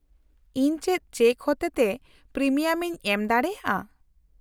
-ᱤᱧ ᱪᱮᱫ ᱪᱮᱠ ᱦᱚᱛᱮ ᱛᱮ ᱯᱨᱤᱢᱤᱭᱟᱢᱤᱧ ᱮᱢ ᱫᱟᱲᱮᱭᱟᱜᱼᱟ ?